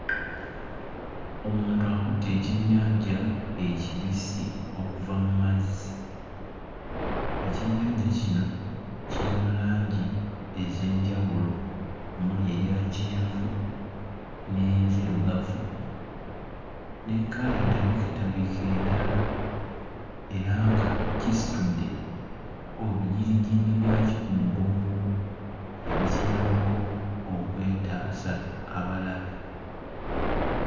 Omuntu akutte ekyennyanja ekibisi okuva mu mazzi. Ekyennyanja kino kiri mu langi ez'enjawulo omuli eya kyenvu, n'enzirugavu, ne kkala entabiketabike endala era nga kisitudde ebijirijimbi byakyo ku mugongo ebikiyambako okwetaasa abalabe.